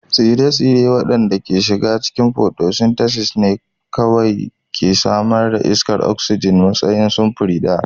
Tsire-tsire waɗanda ke shiga cikin photosynthesis ne kawai ke samar da iskar oxygen a matsayin samfuri biyu